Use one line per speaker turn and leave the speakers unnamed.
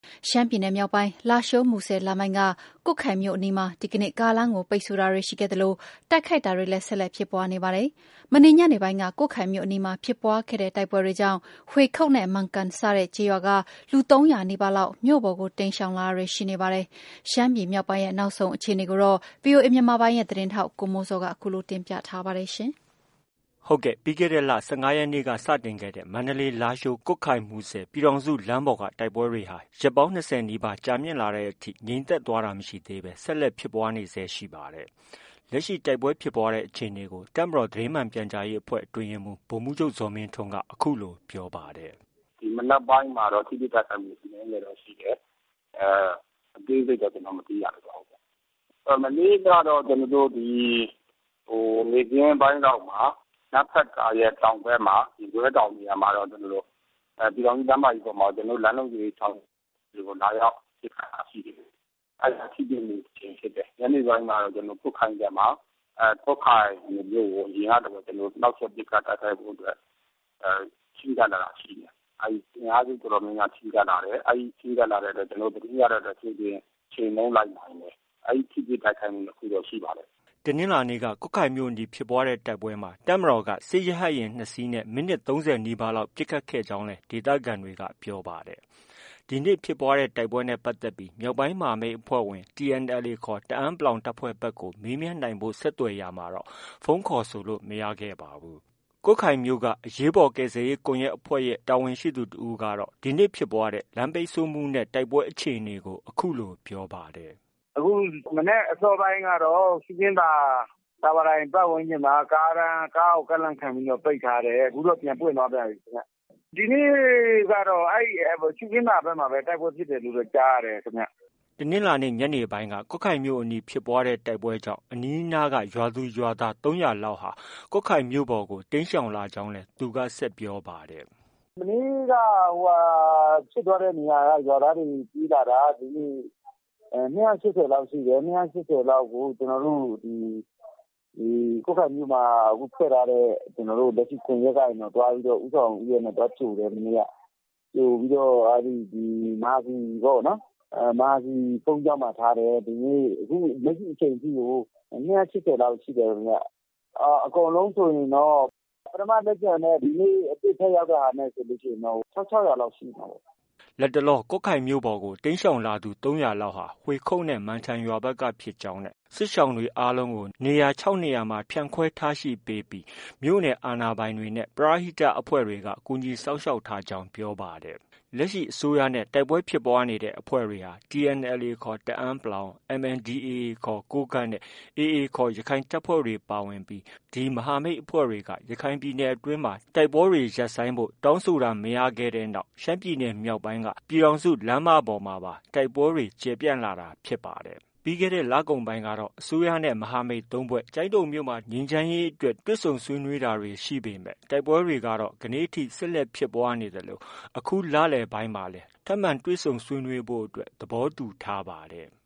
ရှမ်းပြည်နယ်မြောက်ပိုင်း လားရှိုး- မူဆယ်လမ်းပိုင်းက ကွတ်ခိုင်မြို့အနီးမှာ ဒီကနေ့ ကားလမ်းကို ပိတ်ဆို့တာတွေရှိခဲ့သလို တိုက်ခိုက်တာတွေလည်း ဆက်လက်ဖြစ်ပွားနေပါတယ်။ မနေ့ညနေပိုင်းက ကွတ်ခိုင်မြို့အနီးမှာ ဖြစ်ပွားခဲ့တဲ့ တိုက်ပွဲတွေကြောင့် ဟွေခုတ်နဲ့ မန်ကန်စတဲ့ ကျေးရွာက လူ ၃၀၀နီးပါးလောက် မြို့ပေါ်ကို တိမ်းရှောင်လာတာတွေရှိနေပါတယ်။ ရှမ်းပြည်မြောက်ပိုင်းရဲ့ နောက်ဆုံးအခြေအနေကို ဗီအိုအေ မြန်မာပိုင်းရဲ့သတင်းထောက် ကိုမိုးဇော်က တင်ပြသွားမှာ ဖြစ်ပါတယ်။ ပြီးခဲ့တဲ့ လ ၁၅ရက်နေ့က စတင်ခဲ့တဲ့ မန္တလေး- လားရှိုး- ကွတ်ခိုင်- မူဆယ် ပြည်ထောင်စုလမ်းပေါ်က တိုက်ပွဲတွေဟာ ရက် ၂၀ နီးပါး ကြာမြင့်လာတဲ့အထိ ငြိမ်သက်သွားတာ မရှိသေးဘဲ ဆက်လက်ဖြစ်ပွားနေဆဲ ရှိပါတယ်။ လက်ရှိ တိုက်ပွဲဖြစ်ပွားတဲ့ အခြေအနေကို တပ်မတော်သတင်းမှန်ပြန်ကြားရေးအဖွဲ့ အတွင်းရေးမှုး ဗိုလ်မှုးချုပ် ဇော်မင်းထွန်းက အခုလို
ပြောပါတယ်။ “ ဒီမနက်ပိုင်းမှာတော့ ထိတွေ့ တိုက်ခိုက်မှု အနည်းငယ်တော့ ရှိတယ်။ အသေးစိတ်တော့ ကျနော်တို့ မသိရ သေးပါဘူး။ မနေ့ကတော့ ဒီ နေ့ခင်းပိုင်းလောက်မှာ နမ့်ဖတ်ကာရဲ့ တောင်ဘက် ရင်ကွဲတောင်မှာတော့ ပြည်ထောင်စု လမ်းမကြီးပေါ်မှာတော့ ကျနော်တို့ လမ်းလုံခြုံရေးဆောင်ရွက်သူတွေကို လာရောက် ပစ်ခတ်တာ ရှိတယ်။ အဲဒီမှာ ထိတွေ့မှု တစ်ကြိမ်ဖြစ်တယ်။ ညနေပိုင်းမှာတော့ ကျနော်တို့ ကွတ်ခိုင်ဘက်မှာ ကွတ်ခိုင်မြို့ကို အရင်ကလိုပဲ နှောက်ယှက် ပစ်ခတ်တိုက်ခိုက်ဖို့အတွက် ချဉ်းကပ်လာတာရှိတယ်။ အဲဒီ အင်အားစုတော်တော်များများ ချဉ်းကပ်လာတယ်။ အဲဒီချဉ်းကပ်လာတာ ကျနော်တို့ သတင်းရတဲ့အတွက် ကြိုတင်ချေမှုန်းလိုက်နိုင်တယ်။ အဲဒီ ထိတွေ့ တိုက်ခိုက်မှု ၂ခုတော့ ရှိပါတယ်။ ”
တနင်္လာနေ့က ကွတ်ခိုင်မြို့အနီး ဖြစ်ပွားတဲ့တိုက်ပွဲမှာ တပ်မတော်က စစ်ရဟတ်ယာဉ် ၂စင်းနဲ့ မိနစ် ၃၀နီးပါးလောက် ပစ်ခတ်ခဲ့ကြောင်းလည်း ဒေသခံတွေက ပြောပါတယ်။ ဒီနေ့ ဖြစ်ပွားတဲ့ တိုက်ပွဲနဲ့ ပတ်သက်ပြီး မြောက်ပိုင်းမဟာမိတ်အဖွဲ့ဝင် TNLA ခေါ် တအန်း တပ်ဖွဲ့ဘက်ကို မေးမြန်းနိုင်ဖို့ ဆက်သွက်ရာမှာတော့ ဖုန်းခေါ်ဆိုလို့ မရခဲ့ပါဘူး။ ကွတ်ခိုင်မြို့ အရေးပေါ်ကယ်ဆယ်ရေးကွန်ရက်အဖွဲ့က တာဝန်ရှိသူတစ်ဦးကတော့ ဒီနေ့ ဖြစ်ပွားတဲ့ လမ်းပိတ်ဆို့မှုနဲ့ တိုက်ပွဲအခြေအနေကို အခုလို ပြောပါတယ်
။ “ ဒီကနေ့ မနက်အစောပိုင်းကတော့ ရှုခင်းသာ တာဝါတိုင်ပတ်ဝန်းကျင်မှာ ကားကို ကန့်လန့်ခံပြီးတော့ ပိတ်ထားတယ်။ အခုတော့ ပြန်ပွင့်သွားပြန်ပြီခင်ဗျ။ ဒီနေ့ကတော့ ရှုခင်းသာဘက်မှာပဲ တိုက်ပွဲဖြစ်ပွားတယ်လို့ ကြားရတယ်ခင်ဗျ။
” တနင်္လာနေ့ ညနေပိုင်း ကွတ်ခိုင်မြို့အနီးဖြစ်ပွားတဲ့ တိုက်ပွဲကြောင့် အနီးအနားက ရွာသူ၊ ရွာသား ၃၀၀လောက် ကွတ်ခိုင်မြို့ပေါ်ကို တိမ်းရှောင်လာကြောင်းလည်း သူက ဆက်ပြောပါတယ်။
“ မနေ့က ဖြစ်သွားတဲ့နေရာက ရွာသားတွေ ပြေးလာတာ ဒီနေ့ ၂၈၀လောက်ရှိတယ်။ ၂၈၀လောက်ကို ကျနော်တို့ ဒီ ကွတ်ခိုင်မြို့မှာ ဖွဲ့ထားတဲ့ လက်ရှိ ကွန်ရက်ကနေပြီးတော့ ဦးဆောင်ဦးရွက်နဲ့ သွားကြိုတယ် မနေ့က ။ ကြိုပြီးတော့ မဟာစည်ပေါ့နော်။ မဟာစည်ဘုန်းကြီးကျောင်းမှာ ထားတယ်။ ဒီနေ့ လက်ရှိအချိန်ထိကို ၂၈၀လောက်ရှိတယ်။ အကုန်လုံးဆိုရင်တော့ ပထမလက်ကျန်နဲ့ ဒီနေ့ ထပ်ရောက်တာနဲ့ ဆိုရင်တော့ ၁၆၀၀ လောက်ရှိမှာပေါ့။
” လတ်တလော ကွတ်ခိုင်မြို့ပေါ်ကို တိမ်းရှောင်လာသူ ၃၀၀လောက်ဟာ ဟွေခုတ်နဲ့ မန်ထန်ရွာဘက်က ဖြစ်ကြောင်းနဲ့ စစ်ရှောင်တွေကို နေရာ ၆နေရာမှာ နေရာချထားပေးပြီးမြို့နယ်အာဏာပိုင်တွေနဲ့ ပရဟိတအဖွဲ့တွေက ကူညီစောင့်ရှောက်ထားကြောင်း ပြောပါတယ်။ လက်ရှိ အစိုးရနဲ့ တိုက်ပွဲဖြစ်ပွားနေတဲ့ အဖွဲ့တွေဟာ TNLA ခေါ် တအန်း ၊ MNDAA ခေါ် ကိုးကန့်နဲ့ AA ခေါ် ရခိုင်တပ်ဖွဲ့တွေပါဝင်ပြီး မဟာမိတ်အဖွဲ့တွေက ရခိုင်ပြည်နယ်အတွင်းမှာ တိုက်ပွဲတွေ ရပ်ဆိုင်းဖို့ တောင်းဆိုတာ မရခဲ့တဲ့နောက် ရှမ်းပြည်နယ်မြောက်ပိုင်းက ပြည်ထောင်စုလမ်းမပေါ်မှာပါ တိုက်ပွဲတွေ ကျယ်ပြန့်လာတာဖြစ်ပါတယ်။ ပြီးခဲတဲ့ လကုန်ပိုင်းကတော့ အစိုးရနဲ့ မဟာမိတ် ၃ဖွဲ့ ကျိုင်းတုံမြို့နယ် ငြိမ်းချမ်းရေးအတွက် တွေ့ဆုံ ဆွေးနွေးတာတွေ ရှိပေမဲ့ တိုက်ပွဲတွေက ဒီကနေ့ အထိ ဆက်လက်ဖြစ်ပွားနေသလို အခုလလည်ပိုင်းမှာလည်း ထပ်မံတွေ့ဆုံဆွေးနွေးဖို့ သဘောတူထားပါတယ်။